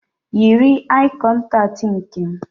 Yiri aị kọntaktị nke m